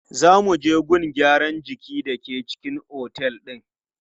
Za mu je gun gyaran jiki da ke cikin otel din.